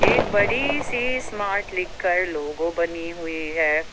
एक बड़ी सी स्मार्ट लिख कर लोगो बनी हुई है।